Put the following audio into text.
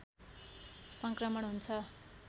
सङ्क्रमण हुन्छ